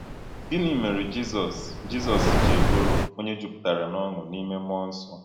Gịnị mere Jizọs Jizọs ji bụrụ ‘onye jupụtara n’ọṅụ n’ime mmụọ nsọ’?